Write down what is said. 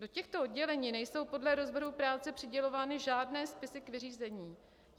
Do těchto oddělení nejsou podle rozvrhu práce přidělovány žádné spisy k vyřízení.